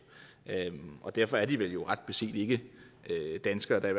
og derfor er de vel ret beset ikke danskere da i